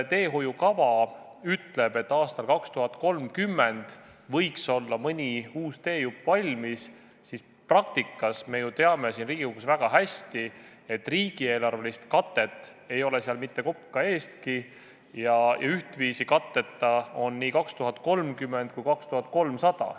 Teehoiukava küll ütleb, et aastal 2030 võiks olla mõni uus teejupp valmis, aga me ju teame siin Riigikogus väga hästi, et riigieelarvelist katet ei ole seal mitte kopika eestki ja ühtviisi katteta on nii aasta 2030 kui 2300.